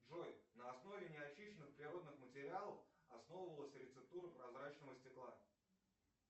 джой на основе не очищенных природных материалов основывалась рецептура прозрачного стекла